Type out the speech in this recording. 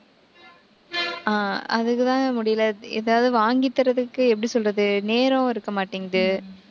அதுக்குதான முடியலை. ஏதாவது வாங்கித் தர்றதுக்கு, எப்படி சொல்றது நேரம் இருக்க மாட்டேங்குது